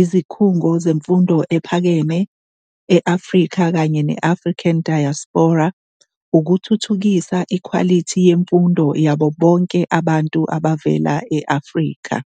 izikhungo zemfundo ephakeme e-Afrika kanye ne-African Diaspora ukuthuthukisa ikhwalithi yemfundo yabo bonke abantu abavela e-Afrika.